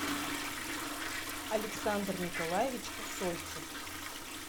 александр николаевич усольцев